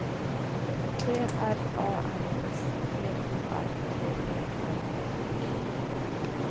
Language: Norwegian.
T R A N S P O R T E R E